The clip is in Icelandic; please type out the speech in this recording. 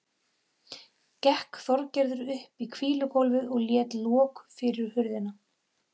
Gekk Þorgerður upp í hvílugólfið og lét loku fyrir hurðina.